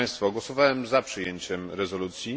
Głosowałem za przyjęciem rezolucji.